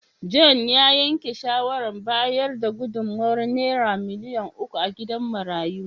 John ya yanke shawarar bayar da gudummawar Naira miliyan uku a gidan marayun.